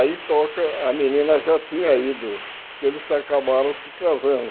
Aí toca, a menina já tinha ido, porque eles acabaram se casando.